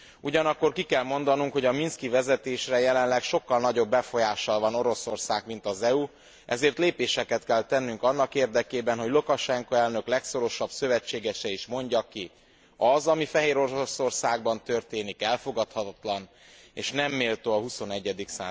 Ugyanakkor ki kell mondanunk, hogy a minszki vezetésre jelenleg sokkal nagyobb befolyással van Oroszország, mint az EU, ezért lépéseket kell tennünk annak érdekében, hogy Lukasenko elnök és legfontosabb szövetségese is mondja ki, az, ami Fehéroroszországban történik, elfogadhatatlan, és nem méltó a XXI.